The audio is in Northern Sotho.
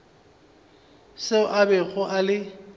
seo a bego a le